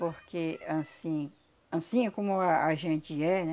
Porque anssim, anssim é como a a gente é, né?